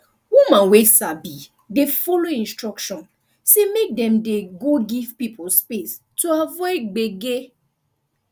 woman wey sabi dey follow instruction say make dem dey go give pipo space to avoid gbege